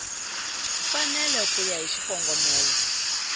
mfanelo ku ya hi xikongomelo